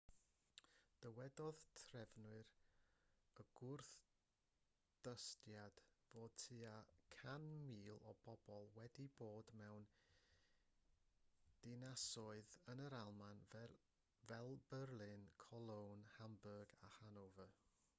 dywedodd trefnwyr y gwrthdystiad fod tua 100,000 o bobl wedi dod mewn dinasoedd yn yr almaen fel berlin cologne hamburg a hanover